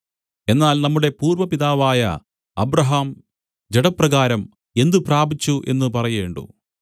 എന്നാൽ നമ്മുടെ പൂർവ്വപിതാവായ അബ്രാഹാം ജഡപ്രകാരം എന്ത് പ്രാപിച്ചു എന്നു പറയേണ്ടു